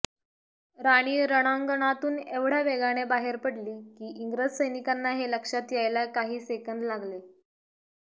राणी रणांगणातून एवढ्या वेगाने बाहेर पडली की इंग्रज सैनिकांना हे लक्षात यायला काही सेकंद लागले